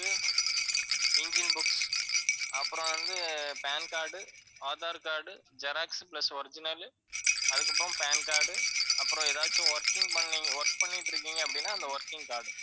engine books அப்பறம் வந்து pan card, aadhar card, xerox plus original அதுக்கப்பறம் pan card அப்பறம் ஏதாச்சு working பண்ண work பண்ணிட்டு இருக்கீங்க அப்படின்னா அந்த working card